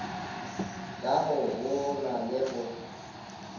ka go boolwa le go